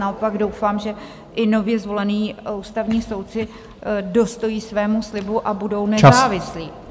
Naopak doufám, že i nově zvolení ústavní soudci dostojí svému slibu a budou nezávislí.